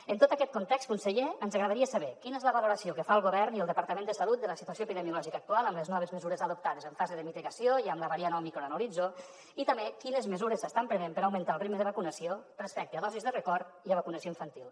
en tot aquest context conseller ens agradaria saber quina és la valoració que fan el govern i el departament de salut de la situació epidemiològica actual amb les noves mesures adoptades en fase de mitigació i amb la variant òmicron a l’horitzó i també quines mesures s’estan prenent per augmentar el ritme de vacunació respecte a dosis de record i a vacunació infantil